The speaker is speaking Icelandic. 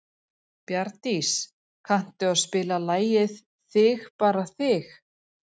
Bjarndís, kanntu að spila lagið „Þig bara þig“?